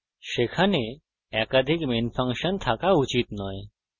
সেখানে একাধিক main function থাকা উচিত নয়